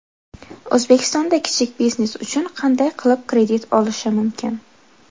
O‘zbekistonda kichik biznes uchun qanday qilib kredit olishi mumkin?.